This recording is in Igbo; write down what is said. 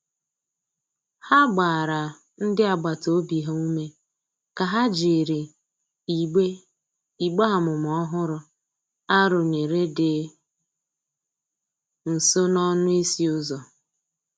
Ha gbara ndi agbata obi ha ume ka ha jịrị igbe igbe amụma ọhụrụ a rụnyere di nso n'ọnụ ịsị uzọ.